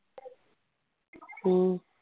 ਹਮ